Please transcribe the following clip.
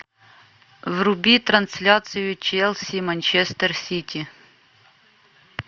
вруби трансляцию челси манчестер сити